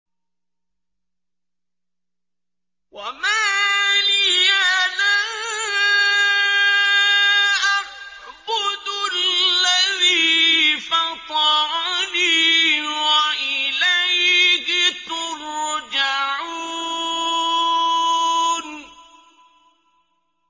وَمَا لِيَ لَا أَعْبُدُ الَّذِي فَطَرَنِي وَإِلَيْهِ تُرْجَعُونَ